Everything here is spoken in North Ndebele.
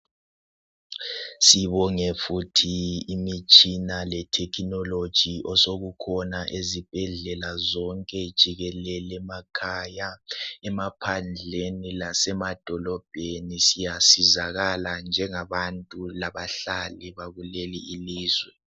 Sibonge futhi imitshina letechnology esikhona izibhedlela zonke jikelele emakhaya emaphandleni lasemadolobheni siyasizakala njengabantu labahlali bakukeli ilizwe